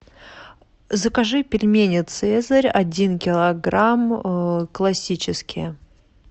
закажи пельмени цезарь один килограмм классические